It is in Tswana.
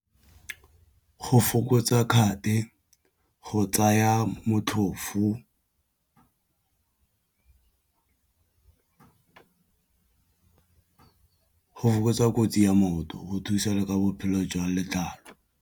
Go fokotsa kate go tsaya motlhofo go fokotsa kotsi ya motho go thusa le ka bophelo jwang letlalo.